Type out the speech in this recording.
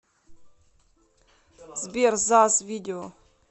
сбер заз видео